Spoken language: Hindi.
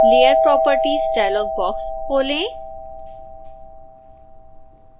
layer properties डायलॉग बॉक्स खोलें